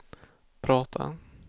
prata